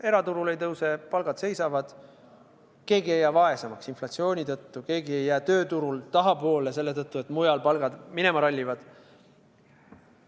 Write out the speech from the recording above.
Eraturul ei tõuse, palgad seisavad, keegi ei jää vaesemaks inflatsiooni tõttu, keegi ei jää tööturul tahapoole selle tõttu, et mujal palgad minema rallivad.